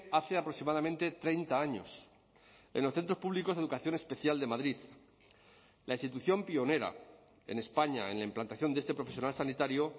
hace aproximadamente treinta años en los centros públicos de educación especial de madrid la institución pionera en españa en la implantación de este profesional sanitario